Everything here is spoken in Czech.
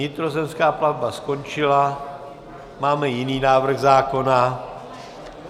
Vnitrozemská plavba skončila, máme jiný návrh zákona.